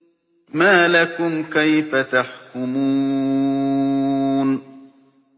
مَا لَكُمْ كَيْفَ تَحْكُمُونَ